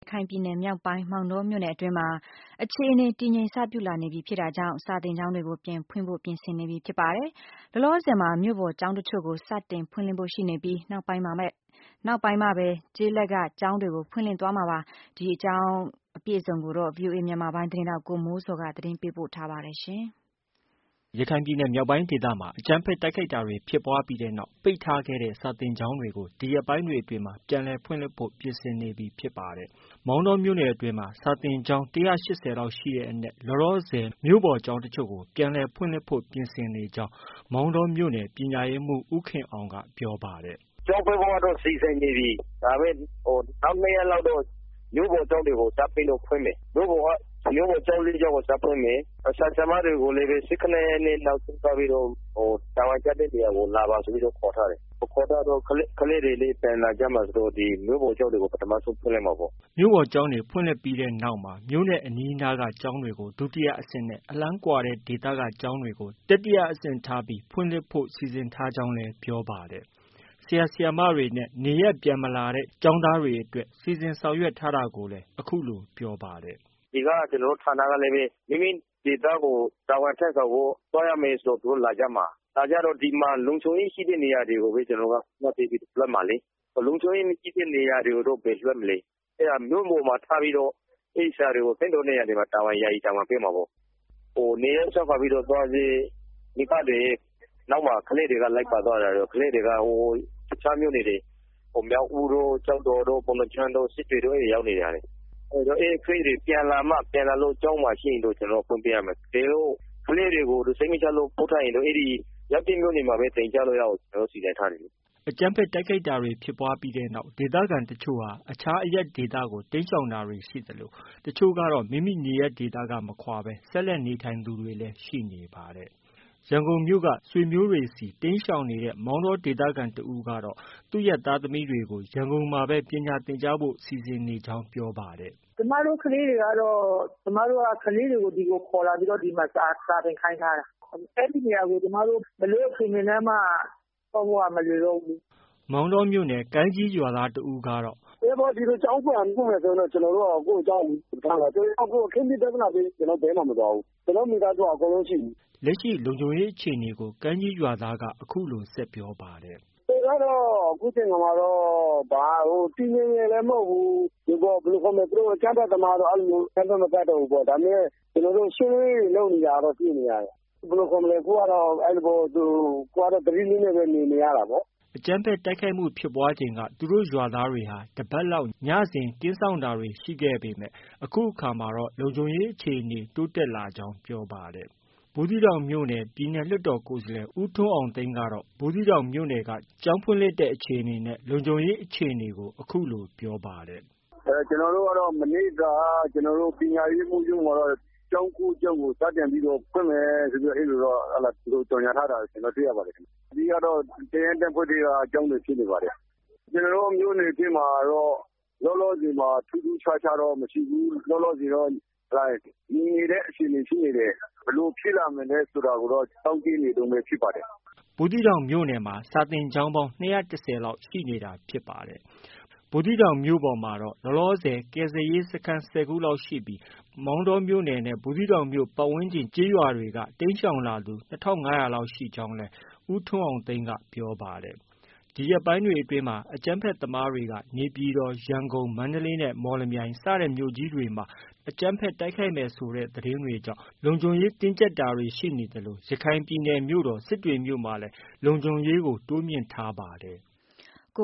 ခိုင်ပြည်နယ်မြောက်ပိုင်း မောင်တောမြို့နယ်အတွင်းမှာ အခြေအနေ တည်ငြိမ်စပြုလာပြီဖြစ်တာကြောင့် စာသင်ကျောင်းတွေကို ပြန်ဖွင့်ဖို့ ပြင်ဆင်နေပြီဖြစ်ပါတယ်။ လောလောဆည်မှာ မြို့ပေါ်ကျောင်းတချို့ကို စတင်ဖွင့်လှစ်ဖို့ ရှိနေပြီး နောက်ပိုင်းမှာပါ ကျေးလက်က ကျောင်းတွေဖွင့်လှစ်သွားမှာဖြစ်ပါတယ်။ ဒီသတင်းကို ဗွီအိုအေမြန်မာပိုင်းရဲ့သတင်းထောက် ကိုမိုးဇော်က တင်ပြထားပါတယ်။ ရခိုင်ပြည်နယ်မြောက်ပိုင်းဒေသမှာ အကြမ်းဖက်တိုက်ခိုက်တာတွေဖြစ်ပွားပြီးတဲ့နောက် ပိတ်ထားခဲ့တဲ့ စာသင်ကျောင်းတွေကို ဒီရက်ပိုင်းတွေအတွင်း ပြန်လည်ဖွင့်လှစ်ဖို့ ပြင်ဆင်နေပြီဖြစ်ပါတယ်။ မောင်တောမြို့နယ်အတွင်းမှာ စာသင်ကျောင်း ၁၈၀လောက်ရှိတဲ့အနက်မှာ လောလောဆည် မြို့ပေါ်ကျောင်း တချို့ကို ပြန်ဖွင့်လှစ်ဖို့ ပြင်ဆင်နေကြောင်း မောင်တော မြို့နယ် ပညာရေးမှူး ဦးခင်အောင်က ပြောပါတယ်။ “ကျောင်းဖွင့်ဖို့တော့ စီစဉ်နေပြီ။ နောက်၂ရက်တော့ မြို့ပေါ်ကျောင်းတွေကို စပြီးတော့ ဖွင့်မယ်။ မြို့ပေါ်ကျောင်း ၄ကျောင်းကို စဖွင့်မယ်။ ဆရာ၊ဆရာမတွေကိုလည်းပဲ ၁၇ရက်နေ့ နောက်ဆုံးထားပြီးတော့ တာဝန်ကျတဲ့နေရာကို လာပါဆိုပြီးတော့ ခေါ်ထားတယ်။ ခေါ်ထားတော့ ကလေးတွေလည်း ပြန်လာကြမှာဆိုတော့ ပထမဆုံးဖွင့်လိုက်မှာပေါ့။ ” မြို့ပေါ်ကျောင်းတွေဖွင့်ပြီးတဲ့နောက်မှာ မြို့နဲ့ အနီးအနားက ကျောင်းတွေကို ဒုတိယအဆင့်နဲ့ အလှမ်းကွာတဲ့ဒေသက ကျောင်းတွေကို တတိယအဆင့်ထား ဖွင့်လှစ်ဖို့ စီစဉ်ထားကြောင်းလည်း ပြောပါတယ်။ ဆရာ၊ဆရာမတွေနဲ့ နေရပ်မပြန်လာတဲ့ ကျောင်းသားတွေအတွက် စီစဉ်ဆောင်ထား တာကိုလည်း အခုလို ပြောပါတယ်။ “ ကျနေ်ာတို့ ဌာနကလည်း မိမိဒေသကို တာဝန်ထမ်းဆောင်ဖို့ သွားရမယ်ဆို သူတို့ လာကြမှာ။ လာကြတော့ လုံခြုံရေးရှိတဲ့နေရာတွေကိုပဲ ကျနော်တို့က ဦးစားပေးပြီးတော့ လွှတ်မှာလေ။ လုံခြုံရေးမရှိတဲ့နေရာတွေတော့ ဘယ်လွှတ်မလဲ။ အဲတော့ မြို့ပေါ်မှာ ထားပြီးတော့ အဲဒီဆရာတွေကို သင့်တော်တဲ့ နေရာတွေမှာ ယာယီတာဝန်ပေးမှာပေါ့။ နေရပ်စွန့်ခွာသွားတဲ့ မိဘတွေရဲ့နောက်မှာ လိုက်ပါသွားတော့ကလေးတွေက တခြားမြို့နယ်တွေ မြောက်ဦးတို့၊ ကျောက်တော်တို့၊ ပုဏ္ဍားကျွန်းတို့၊ စစ်တွေတို့ရောက်နေတဲ့ ဟာတွေ အဲဒီကလေးတွေပြန်လာမှ ပြန်လာလို့ ကျောင်းမှာရှိရင်တော့ ကျနော်တို့က ဖွင့်ပေးရမှာ။ တကယ်လို့ ကလေးတွေကို စိတ်မချလို့ ပို့ထားတယ်ဆိုရင်တော့ ရောက်တဲ့မြို့မှာပဲ သင်ကြားလို့ ရအောင်ကျနော်တို့ စီစဉ်ထားတယ်လေ။” အကြမ်းဖက် တိုက်ခိုက်တာတွေ ဖြစ်ပွားပြီးတဲ့နောက်မှာ ဒေသခံတချို့ဟာ အခြားအရပ်ဒေသကို တိမ်းရှောင်သူတွေ ရှိသလို တချို့ကတော့ မိမိနေရပ်က မခွာဘဲ ဆက်လက်နေထိုင်သူတွေလည်းရှိနေတာပါ။ ရန်ကုန်မြို့က ဆွေမျိုးတွေဆီ တိမ်းရှောင်နေတဲ့ မောင်တောမြို့ခံတဦးကတော့ သူ့ သားသမီးတွေကို ရန်ကုန်မှာပဲ ပညာသင်ကြားဖု့ိစိစဉ်နေကြောင်းပြောပါတယ်။ “ ကျမတို့ကတော့ ကျမတို့ကလေးတွေကို ဒီကိုခေါ်လာပြီး ဒီမှာ စာသင်ခိုင်းထားတာ။ အဲဒီနေရာကို ဘယ်လိုအခြေအနေနဲ့မှ သွားဖို့က မလွယ်တော့ဘူးလေ။ ” မောင်တောမြို့နယ် ကိုင်းကြီးရွာသားတဦးက “ ကျောင်းပြန်ဖွင့်မယ်ဆိုလို့ကတော့ ကျနော်တို့က ကိုယ့်ကျောင်းကို ထားမှာ။ အခင်းဖြစ် ပြဿနာဖြစ်ပြီး ကျနော်တို့ ဘယ်မှ မသွားဘူး။ ကျနော်တို့ မိသားစုက အကုန်လုံး ရှိနေတာ။” လက်ရှိ လုံခြုံရေးအခြေအနေကို ကိုင်းကြီးရွာသားက အခုလို ဆက်ပြောပါတယ်။ “ အခြေအနေကတော့ အခုချိန်ခါမှာတော့ တည်ငြိမ်တယ်လည်း မဟုတ်ဘူး။ အကြမ်းဖက်သမားကတော့ အကြမ်းဖက် မတိုက်တောဘူးပေါ့။ ဒါပေမဲ့ ရှင်းလင်းရေးတွေ လုပ်နေတာတော့ တွေ့နေရတယ်။ အခုကတော့ သတိနဲ့ပဲ နေနေရတာပေါ့။ ” အကြမ်းဖက်တိုက်ခိုက်မှုဖြစ်ပွားချိန်က သူတို့ရွာသားတွေဟာ တပတ်လောက် ညစဉ် ကင်းစောင့်တာတွေ ရှိခဲ့ပေမဲ့အခုအခါမှာတော့ လုံခြုံရေးအခြေအနေ တိုးတက် လာကြောင်း ပြောပါတယ်။ ဘူးသီးတောင်မြို့က ပြည်နယ်လွှတ်တော်ကိုယ်စားလှယ် ဦးထွန်းအောင်သိန်းကတော့ ဘူးသီးတောင်မြို့နယ်အတွင်း ကျောင်းဖွင့်လှစ်တဲ့အခြေအနေနဲ့ လုံခြုံရေးအခြေအနေကို အခုလို ပြောပါတယ်။ “ ကျနော်တို့ကတော့ မနေ့က ပညာရေးမှုးရုံးမှာတော့ ကျောင်း၉ကျောင်းကို စတင်ပြီးတော့ ဖွင့်မယ်လို့ အဲလိုတော့ ကြေညာထားတာ တွေ့ပါတယ်။ အဓိကကတော့ တပ်ရင်း တပ်ဖွဲ့ထဲက ကျောင်းတွေဖြစ်နေပါတယ်။ ကျနော်တို့ မြို့နယ်မှာတော့ လောလောဆည်မှာ ထူးထူးခြားခြားတော့ မရှိဘူး။ ငြိမ်နေတဲ့အခြေအနေရှိနေတယ်။ ဘယ်လိုဖြစ်လာမလဲဆိုတာတော့ စောင့်ကြည့်ရမယ့်အခြေအနေဖြစ်ပါတယ်။ ” ဘူးသီးတောင်မြို့နယ်မှာ စာသင်ကျောင်း ၂၁၀လောက်ရှိနေတာဖြစ်ပါတယ်။ ဘူးသီးတောင်မြို့ပေါ်မှာ ကယ်ဆယ်ရေးစခန်း ၁၀ခုလောက်ရှိပြီး မောင်တောနဲ့ ပတ်ဝန်းကျင်ကျေးရွာတွေက တိမ်းရှောင်လာသူ ၂၅၀၀လောက်ရှိကြောင်းလည်း ပြောပါတယ်။ ဒီရက်ပိုင်းတွေအတွင်းမှာ အကြမ်းဖက်သမားတွေက နေပြည်တော်၊ ရန်ကုန်၊ မန္တလေးနဲ့ မော်လမြိုင်စတဲ့ မြို့ကြီးတွေမှာ အကြမ်းဖက်တိုက်ခိုက်မယ်ဆိုတဲ့သတင်းတွေကြောင့် လုံခြုံရေးတင်းကျပ်တာတွေ ရှိနေသလို ရခိုင်ပြည်နယ်မြို့တော် စစ်တွေမြို့မှာလည်း လုံခြုံရေးတိုးမြှင့်ထားရပါတယ်။